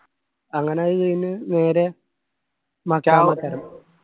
അങ്ങനെ അത് അയിന് നേരെ മഖാമ്